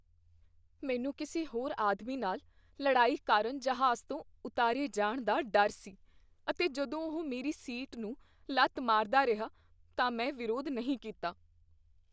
ਮੈਨੂੰ ਕਿਸੇ ਹੋਰ ਆਦਮੀ ਨਾਲ ਲੜਾਈ ਕਾਰਨ ਜਹਾਜ਼ ਤੋਂ ਉਤਾਰੇ ਜਾਣ ਦਾ ਡਰ ਸੀ ਅਤੇ ਜਦੋਂ ਉਹ ਮੇਰੀ ਸੀਟ ਨੂੰ ਲੱਤ ਮਾਰਦਾ ਰਿਹਾ ਤਾਂ ਮੈਂ ਵਿਰੋਧ ਨਹੀਂ ਕੀਤਾ।